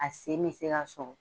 A sen bɛ se ka sɔgɔ